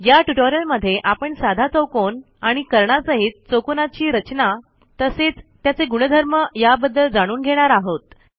या ट्युटोरियलमध्ये आपण साधा चौकोन आणि कर्णासहित चौकोनाची रचना तसेच त्याचे गुणधर्म याबद्दल जाणून घेणार आहोत